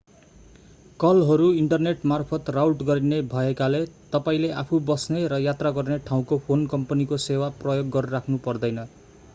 कलहरू इन्टरनेटमार्फत राउट गरिने भएकाले तपाईंले आफू बस्ने र यात्रा गर्ने ठाउँको फोन कम्पनीको सेवा प्रयोग गरिराख्नु पर्दैन